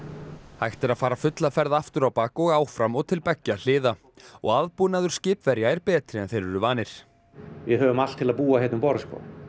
hægt er að fara fulla ferð aftur á bak og áfram og til beggja hliða og aðbúnaður skipverja er betri en þeir eru vanir við höfum allt til að búa hérna um borð